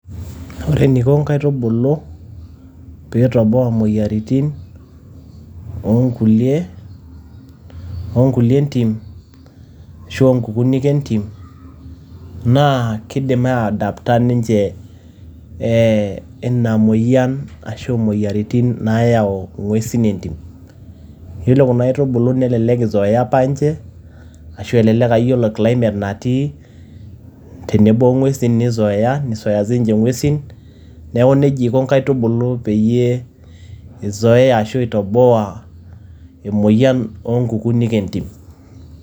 Ore eniko nkaitubulu pee etoboa moyiaritin oo nkulie oo nkulie entim ashu nkukunik entim naa kidim ai adapter ninche ee ina moyian ashu imoyiaritin naayau ng`uesin entim. Yiolo kuna aitubulu nelelek ei zoea apa ninche, ashu elelek aa ore ninche climate natii tenebo o ng`uesin ni zoea ni zoea sii ninche ng`uesin. Niaku neijia iko ninche nkaitubulu pee izoea ashu itoboa emoyian oo nkukunik e ntim.